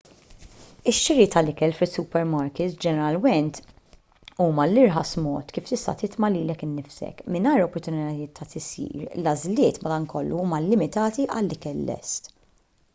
ix-xiri tal-ikel fis-supermarkits ġeneralment huwa l-irħas mod kif tista' titma' lilek innifsek mingħajr opportunitajiet ta' tisjir l-għażliet madankollu huma limitati għal ikel lest